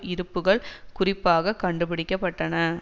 இருப்புக்கள் குறிப்பாக கண்டுபிடிக்க பட்டன